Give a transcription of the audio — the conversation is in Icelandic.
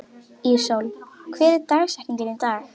Íssól, hver er dagsetningin í dag?